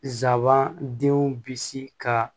Sabanan denw bisi ka